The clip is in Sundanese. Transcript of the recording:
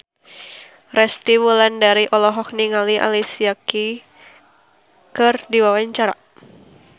Resty Wulandari olohok ningali Alicia Keys keur diwawancara